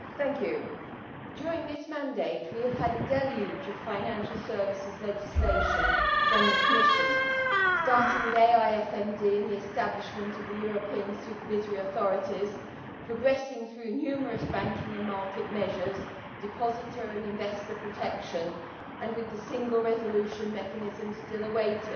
Madam President, during this mandate we have had a deluge of financial services legislation from the Commission starting with AIFMD and the establishment of the European Supervisory Authorities, progressing through numerous banking and market measures, depositor and investor protection, and with the Single Resolution Mechanism still awaited.